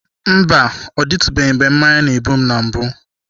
Mba, ọ dịtụbeghị mgbe mmanya na-egbu m na mbụ.